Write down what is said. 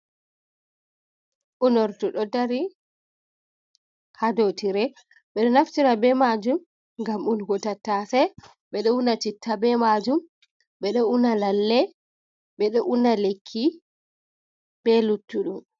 Unorɗu ɗo ɗari ha ɗow tire. beɗo naftira be majum gam unugo tattase. Beɗo una citta be majum beɗo una lalle. Beɗo una lekki be luttuɗum.